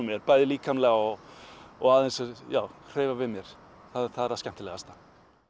mér bæði líkamlega og og aðeins já hreyfa við mér það er það skemmtilegasta